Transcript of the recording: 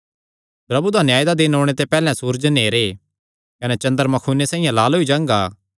प्रभु दा न्याय दा दिन ओणे ते पैहल्लैं सूरज नेहरे कने चन्द्रमा खूने साइआं लाल होई जांगा